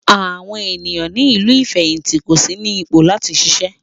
Àwọn ènìyàn ní ìlú ìfẹ̀hìntì kò sí ní ipò láti ṣiṣẹ́.